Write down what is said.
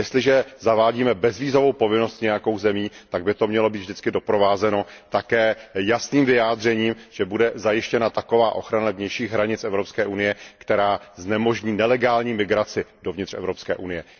Jestliže zavádíme bezvízovou povinnost s nějakou zemí, tak by to mělo být vždycky doprovázeno také jasným vyjádřením, že bude zajištěna taková ochrana vnějších hranic Evropské unie, která znemožní nelegální migraci dovnitř Evropské unie.